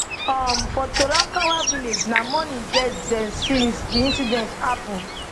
um for torankawa village na mourning get dem since di incident happen